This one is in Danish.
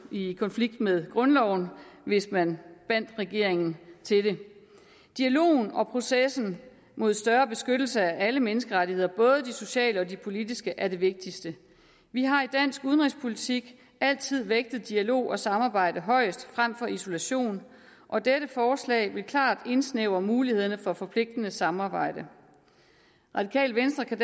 i konflikt med grundloven hvis man bandt regeringen til den dialogen og processen mod større beskyttelse af alle menneskerettigheder både de sociale og de politiske er det vigtigste vi har i dansk udenrigspolitik altid vægtet dialog og samarbejde højest frem for isolation og dette forslag vil klart indsnævre mulighederne for forpligtende samarbejde radikale venstre kan